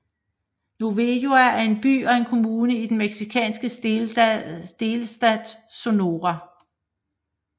Navojoa er en by og en kommune i den mexikanske delstat Sonora